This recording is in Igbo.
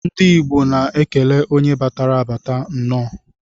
Ndi igbo na ekele onye batara abats nnọ.